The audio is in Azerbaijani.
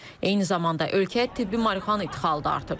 Eyni zamanda ölkəyə tibbi marihuana ixracı da artıb.